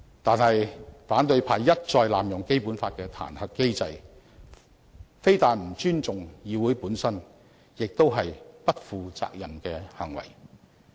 但是，反對派一再濫用《基本法》的彈劾機制，非但不尊重議會本身，更是不負責任的行為。